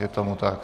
Je tomu tak.